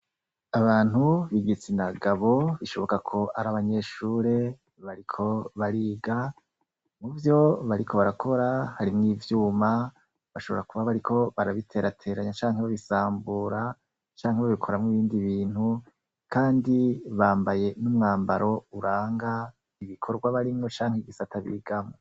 Abantu bigitsina gabo bishoboka ko ari abanyeshure bariko bariga mu vyo bari ko barakora harimwo ivyuma bashobora kuba bariko barabiterateranya canke bo bisambura canke bo bikoramwo ibindi bintu, kandi bambaye n'umwambaro uranga ibi bikorwa barimwo canke igisata bigamwo.